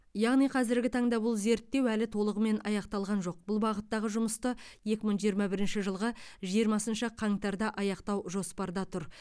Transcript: яғни қазіргі таңда бұл зерттеу әлі толығымен аяқталған жоқ бұл бағыттағы жұмысты екі мың жиырма бірінші жылғы жиырмасыншы қаңтарда аяқтау жоспарда тұр